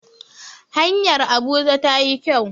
hanyar Abuja ta yi kyau